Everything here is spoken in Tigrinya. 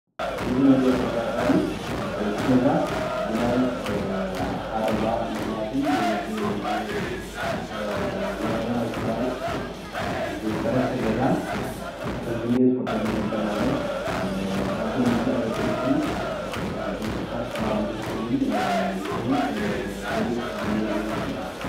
እዚ እንሪኦ ዘለና ድማኒ እቲ ገዛ ብናይ ሓደጋ ምክንያትን ብዝነበረ ናይ ትግራይ ዝፈረሰ ገዛን ከም ዝኒሀ ዝፎቶ እ ዚ ይገልፀልና ኣሎ ኣብ ጎኒ ድማ ኤሌክትሪክን ናይኤሌክትሪካት ፓሎ ተተኪሉን ንሱ ውን ወዲቁ ከም ዝኒሀ የመልክት፡፡